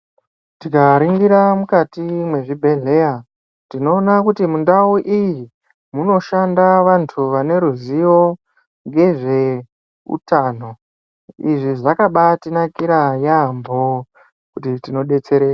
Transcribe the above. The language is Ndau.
Tikaringira mukati mwezvibhedhleya, tinoona kuti mundau iyi, munoshanda vantu vaneruzivo ngezveutano. izvi zvakabaatinakira yambo, kuti tinodetsereka.